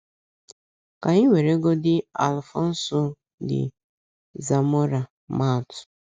Ka anyị weregodị Alfonso de Zamora maa atụ.